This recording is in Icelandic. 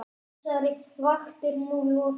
Þessari vakt er nú lokið.